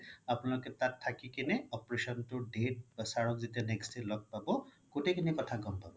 আপোনালোকে তাত থাকি কিনে operation ৰ date বা sir ৰক যেতিয়া next day লগ পাব গুতেই খিনি কথা গ'ম পাব